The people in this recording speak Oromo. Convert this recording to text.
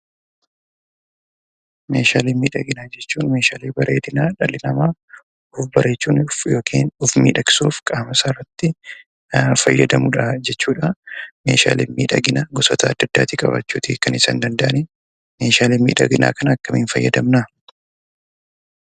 Meeshaalee miidhaginaa jechuun meeshaalee bareedinaa dhalli namaa of bareechuuf yokiin of miidhagsuuf qaamasaarratti fayyadamudhaa jechuudha. Meeshaalen miidhaginaa gosoota adda addaati qabaachuutii kan isaan danda'anii. Meeshaalee miidhaginaa kana akkamiin fayyadamnaa?